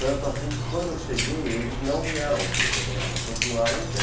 Tanto assim que, quando eu cheguei, eles não vieram me fotografar, eles continuaram em pé.